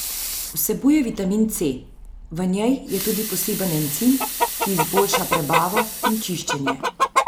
Vsebuje vitamin C, v njej je tudi poseben encim, ki izboljša prebavo in čiščenje.